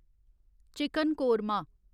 chicken korma